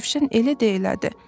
Rövşən elə də elədi.